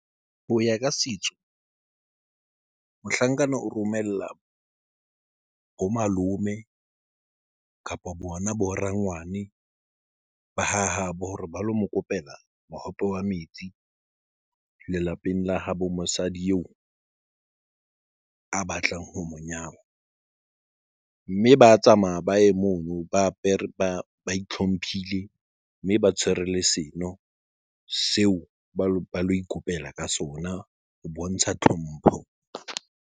Hoya ka setso mohlankana o romella bo malome kapa bona bo rangwane ba hahabo hore ba lo mokopela mohope wa metsi lelapeng la habo mosadi eo a batlang ho monyaduwa mme ba tsamaya baye mono ba apere ba hlomphile mme ba tshwere le seno seo ba lo ikopela ka sona ho bontsha tlhompho.